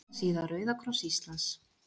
Heimasíða Rauða kross Íslands